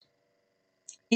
DR2